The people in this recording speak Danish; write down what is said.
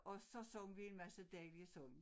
Og så sang vi en masse dejlige sange